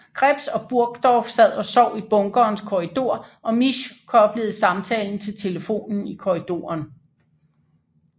Krebs og Burgdorf sad og sov i bunkerens korridor og Misch koblede samtalen til telefonen i korridoren